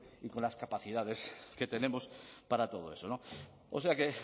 y con las capacidades que tenemos para todo eso o sea que